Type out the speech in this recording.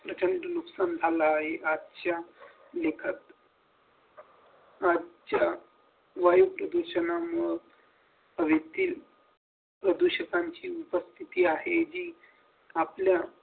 नुकसान झाला आहे आजच्या लिखत आजच्या वायुच्या दिशेने मना आजच्या प्रदूषकांची उपस्थिती आहे जी आपल्या